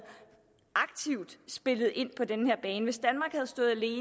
spillet ind på den her bane hvis vi